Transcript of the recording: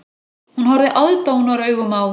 Hún horfði aðdáunaraugum á